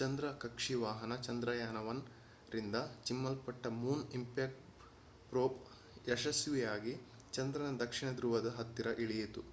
ಚಂದ್ರ ಕಕ್ಷಿ ವಾಹನ ಚಂದ್ರಯಾನ-1ರಿಂದ ಚಿಮ್ಮಲ್ಪಟ್ಟ ಮೂನ್ ಇಂಪ್ಯಾಕ್ಟ್ ಪ್ರೋಬ್mip ಯಶಸ್ವಿಯಾಗಿ ಚಂದ್ರನ ದಕ್ಷಿಣ ಧ್ರುವದ ಹತ್ತಿರ ಇಳಿಯಿತು